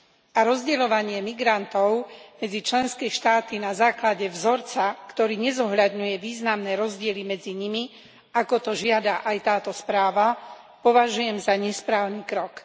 A rozdeľovanie migrantov medzi členské štáty na základe vzorca, ktorý nezohľadňuje významné rozdiely medzi nimi, ako to žiada aj táto správa, považujem za nesprávny krok.